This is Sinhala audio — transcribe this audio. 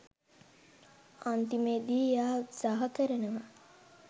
අන්තිමේදී එයා උත්සහ කරනවා